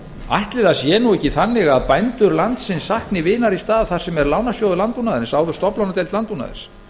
ætli það sé ekki þannig að bændur landsins sakni vinar í stað þar sem er lánasjóður landbúnaðarins áður stofnlánadeild landbúnaðarins